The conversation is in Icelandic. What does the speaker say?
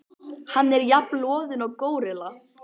Hann er jafn loðinn og górilla.